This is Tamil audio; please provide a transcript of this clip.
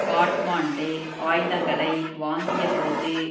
காட்மாண்டு ஆயுதங்களை வாங்கியபோது